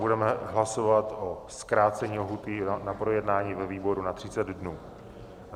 Budeme hlasovat o zkrácení lhůty na projednání ve výboru na 30 dnů.